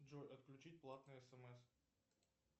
джой отключить платные смс